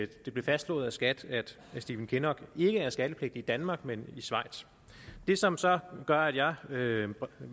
det blev fastslået af skat at stephen kinnock ikke er skattepligtig i danmark men i schweiz det som så gør at jeg vil